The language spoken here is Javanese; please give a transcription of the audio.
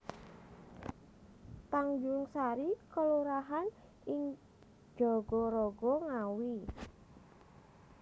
Tanjungsari kelurahan ing Jagaraga Ngawi